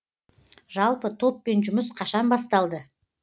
жалпы топпен жұмыс қашан басталды